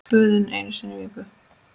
Böðun einu sinni í viku!